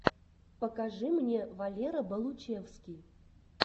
покажи мне валера болучевский